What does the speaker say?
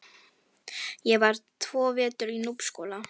Ég var tvo vetur í Núpsskóla.